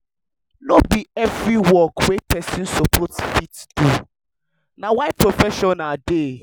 no bi evri work wey pesin soppose fit do na why professional dey